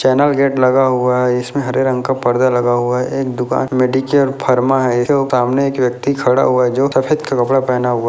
channel gate लगा हुआ हैं इसमें हरे रंग का पर्दा लगा हुआ हैं एक दुकान मेडिकेयर फर्मा है उसके सामने एक व्यक्ति जो खड़ा हुआ है जो सफेद का कपड़ा पहना हुआ --